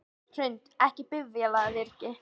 Hrund: Ekki bifvélavirki?